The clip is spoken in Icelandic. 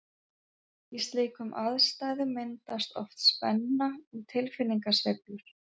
Í slíkum aðstæðum myndast oft spenna og tilfinningasveiflur.